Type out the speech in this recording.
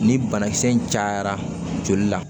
Ni banakisɛ in cayara joli la